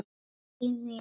Berti minn.